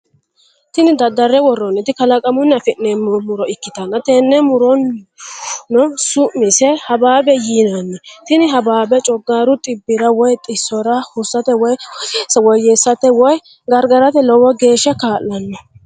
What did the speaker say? Tini daddarre worronniti kalaqamunni afi'neemmo muro ikkitana tenne murohuno su'mise hababe yinanni tini hababeno coggarru xibbira woy xissora hursate woy woyyessate woy gargarate lowo geeshsa kaa'lanno.